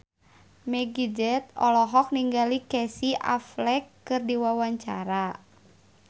Meggie Z olohok ningali Casey Affleck keur diwawancara